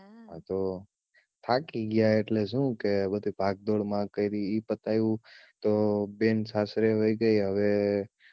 હા તો થાકી ગયા એટલે શું કે બધી ભાગદોડમાં કરી ઈ પતાવ્યું તો બેન સાસરે વઈ ગઈ હવે